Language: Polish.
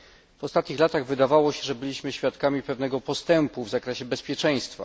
W ostatnich latach wydawało się, że byliśmy świadkami pewnego postępu w zakresie bezpieczeństwa.